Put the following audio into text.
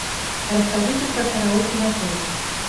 расскажите про караоке в отеле